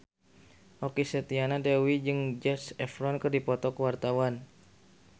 Okky Setiana Dewi jeung Zac Efron keur dipoto ku wartawan